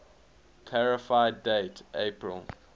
clarify date april